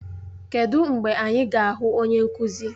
Kedụ mgbe anyị ga-ahụ onye nkụzi?